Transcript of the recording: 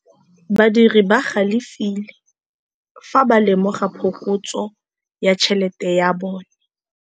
Badiri ba galefile fa ba lemoga phokotsô ya tšhelête ya bone.